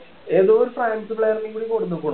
ഏതോ ഒരു France player നെകൂടി കൊണ്ടുവന്ന്ക്കണു